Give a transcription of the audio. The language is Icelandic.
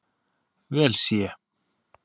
vel sé.